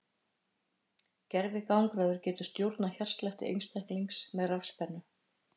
gervigangráður getur stjórnað hjartslætti einstaklinga með rafspennu